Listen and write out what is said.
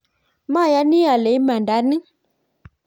mayani ale imanda ni